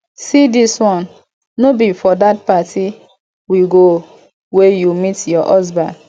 see dis one no be for dat party we go wey you meet your husband